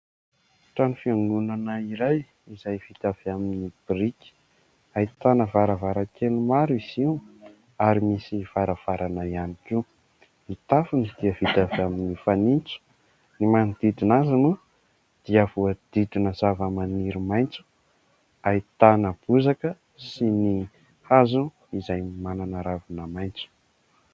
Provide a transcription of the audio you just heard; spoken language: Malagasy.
Trano fiangonana iray izay vita avy amin'ny biriky, ahitana varavarankely maro izy, io ary misy varavarana ihany koa. Ny tafony dia vita avy amin'ny fanintso ; ny manodidina azy moa dia voadidina zavamaniry maitso, ahitana bozaka, sy ny hazo izay manana ravina maitso.